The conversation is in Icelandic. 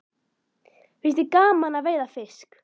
Finnst þér gaman að veiða fisk?